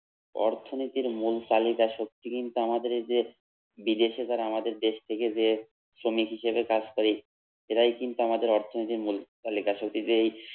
অর্থনীতির মূল তালিকা শক্তি কিন্তু আমাদের এই যে, বিদেশে যারা আমাদের দেশ থেকে যেয়ে শ্রমিক হিসেবে কাজ করে এরাই কিন্তু আমাদের অর্থনীতির মূল তালিকা সত্যি যে